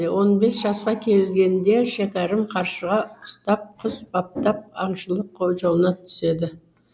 он бес жасқа келгенде шәкәрім қаршыға ұстап құс баптап аңшылық қолжауына түседі